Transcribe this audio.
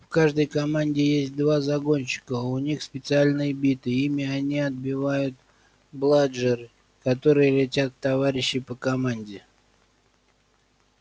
в каждой команде есть два загонщика у них специальные биты ими они отбивают бладжеры которые летят в товарищей по команде